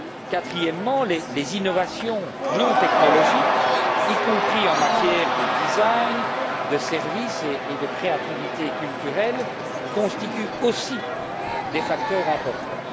Quatrièmement, les innovations non technologiques, y compris en matière de design, de services et de créativité culturelle, constituent aussi des facteurs importants.